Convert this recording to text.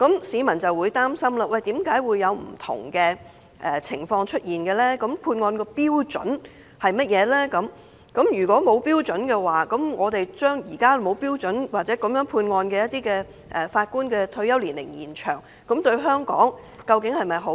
市民擔心為何會出現不同的情況，關注判案標準為何，以及一旦將一些判案沒有標準的法官的退休年齡延展，對香港是否有好處。